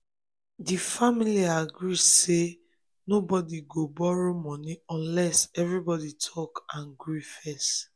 di family agree say nobody go borrow money unless everybody talk and agree first.